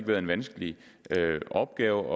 været en vanskelig opgave